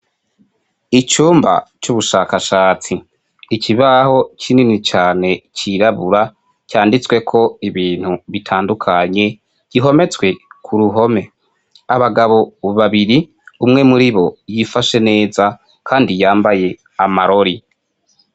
Icumba c'ubushakashatsi. Ikibaho kinini cane cirabura, canditsweko ibintu bitandukanye, gihometswe ku ruhome. Abagabo babiri, umwe muri bo yifashe neza kandi yambaye amarori.